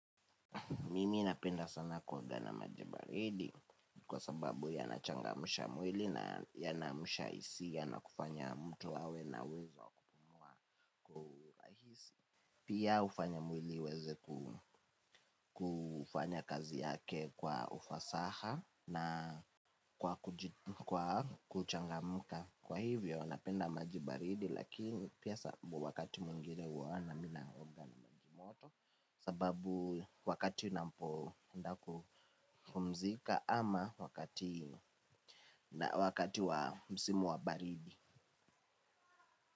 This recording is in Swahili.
Mimi napenda sana kuogana majibaridi kwa sababu yanachangamusha mwili na yanaamsha hisia nakufanya mtu awe na uwezo kwa ulahisi. Pia ufanya mwili uweze kufanya kazi yake kwa ufasaha na kwa kuchangamuka. Kwa hivyo napenda maji baridi lakini pia sababu wakati mwingine huwa na mi naoga maji moto. Sababu wakati napo enda kupumzika ama wakati na wakati wa msimu wa baridi.